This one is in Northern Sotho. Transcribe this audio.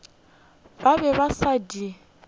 ba be ba sa di